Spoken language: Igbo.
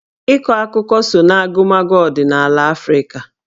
Ịkọ akụkọ so na agụmakwụkwọ ọdịnala Afrịka